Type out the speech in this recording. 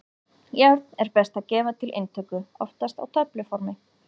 Járn er best að gefa til inntöku, oftast á töfluformi.